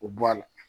O bɔ a la